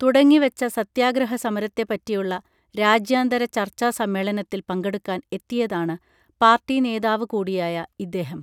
തുടങ്ങി വച്ച സത്യാഗ്രഹ സമരത്തെപ്പറ്റിയുള്ള രാജ്യാന്തര ചർച്ചാ സമ്മേളനത്തിൽ പങ്കെടുക്കാൻ എത്തിയതാണ് പാർട്ടി നേതാവു കൂടിയായ ഇദ്ദേഹം